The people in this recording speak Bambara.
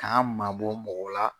K'an mabɔ mɔgɔw la.